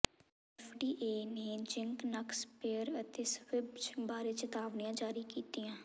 FDA ਨੇ zinc ਨੱਕ spray ਅਤੇ ਸਵਿਬਜ਼ ਬਾਰੇ ਚੇਤਾਵਨੀਆਂ ਜਾਰੀ ਕੀਤੀਆਂ